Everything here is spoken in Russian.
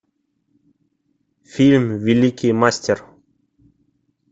фильм великий мастер